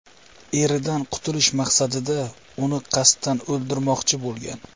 eridan qutulish maqsadida, uni qasddan o‘ldirmoqchi bo‘lgan.